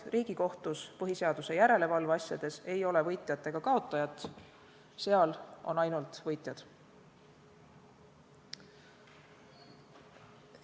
Riigikohtus põhiseaduse järelevalve asjades ei ole võitjat ega kaotajat, seal on ainult võitjad.